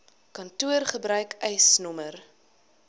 kantoor gebruik eisnr